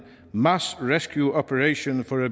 mass rescue operation for at